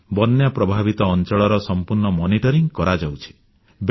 ବନ୍ୟା ପ୍ରଭାବିତ ଅଂଚଳରେ ଉଦ୍ଧାର ଓ ରିଲିଫ କାର୍ଯ୍ୟର ସମ୍ପୂର୍ଣ୍ଣ ତଦାରଖ କରାଯାଉଛି